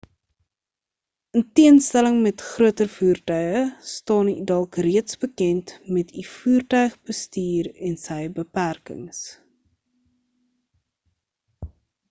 in teenstelling met groter voertuie staan u dalk reeds bekend met u voertuig bestuur en sy beperkings